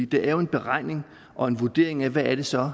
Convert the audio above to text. det er jo en beregning og en vurdering af hvad det så